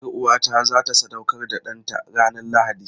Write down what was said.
Yar'uwata za ta sadaukar da ɗanta ranar Lahadi.